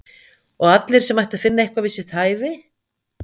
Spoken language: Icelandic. Og allir sem ættu að finna eitthvað við sitt hæfi?